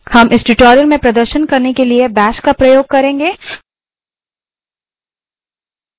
हम इस tutorial में प्रदर्शन के लिए bash का प्रयोग करेंगे